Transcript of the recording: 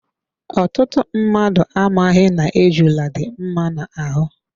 Ọtụtụ mmadụ amaghị na ejula dị mma na ahụ.